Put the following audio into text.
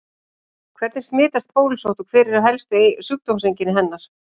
Hvernig smitast bólusótt og hver eru helstu sjúkdómseinkenni hennar?